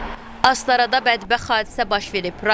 Astarada bədbəxt hadisə baş verib.